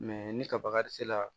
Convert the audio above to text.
ni ka baga se la